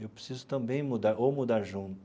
Eu preciso também mudar, ou mudar junto.